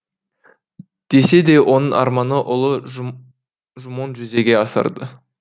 десе де оның арманын ұлы жумоң жүзеге асырды